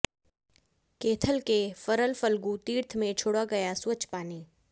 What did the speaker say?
कैथल के फरल फल्गु तीर्थ में छोड़ा गया स्वच्छ पानी